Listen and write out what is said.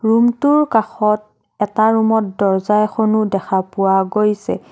ৰুমটোৰ কাষত এটা ৰুমত দৰ্জা এখনো দেখা পোৱা গৈছে।